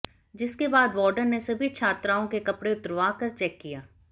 जिसके बाद वार्डन ने सभी छात्राओं के कपड़े उतरवाकर चेक किया